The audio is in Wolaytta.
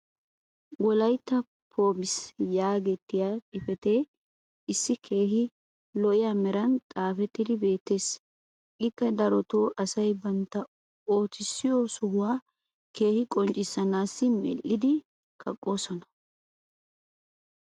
"wolaytta poems" yaagettiya xifatee issi keehi lo'iya meran xaaxxettidi beetees. ikka darotoo asay bantta oottissiyo sohuwa keehi qoccissanaassi medhdhidi kaqqoosona.